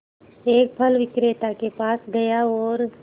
एक फल विक्रेता के पास गया और